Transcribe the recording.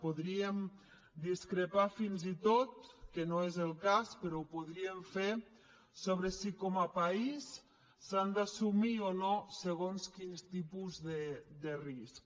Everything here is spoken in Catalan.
podríem discrepar fins i tot que no és el cas però ho podríem fer sobre si com a país s’han d’assumir o no segons quins tipus de risc